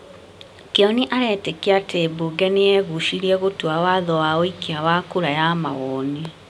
Kĩoni arĩtĩkia atĩmbunge nĩ yegucirie gũtua watho wa ũikia wa kura ya mawoni.